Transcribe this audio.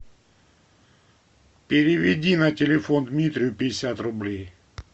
переведи на телефон дмитрию пятьдесят рублей